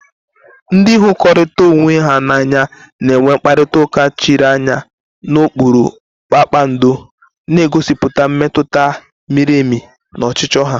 Ndị hụrikotara onwe ha n'anya na-enwe mkparịta ụka chiri anya n'okpuru kpakpando, na-egosipụta mmetụta miri emi na ọchịchọ ha.